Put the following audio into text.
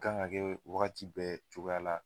kan ka kɛ wagati bɛɛ cogoya la